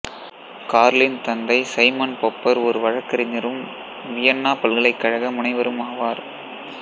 Carlin தந்தை Simon Popper ஒரு வழக்கறிஞரும் வியென்னா பல்கலைக்கழக முனைவரும் ஆவார்